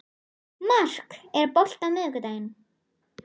Mark, er bolti á miðvikudaginn?